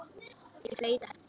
Ég flauta.